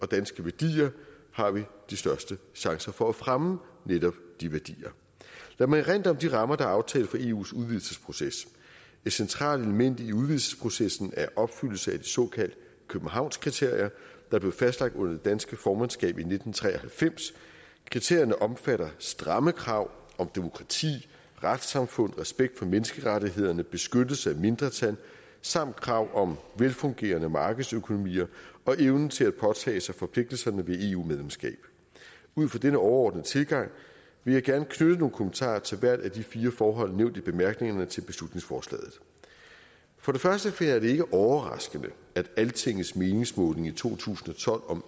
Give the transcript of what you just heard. danske værdier har vi de største chancer for at fremme netop de værdier lad mig erindre om de rammer der er aftalt for eus udvidelsesproces et centralt element i udvidelsesprocessen er opfyldelsen af såkaldte københavnskriterier der blev fastlagt under det danske formandskab i nitten tre og halvfems kriterierne omfatter stramme krav om demokrati retssamfund respekt for menneskerettighederne beskyttelse af mindretal samt krav om velfungerende markedsøkonomier og evnen til at påtage sig forpligtelserne ved eu medlemskab ud fra denne overordnede tilgang vil jeg gerne knytte nogle kommentarer til hvert af de fire forhold nævnt i bemærkningerne til beslutningsforslaget for det første finder jeg det ikke overraskende at altingets meningsmåling i to tusind og tolv om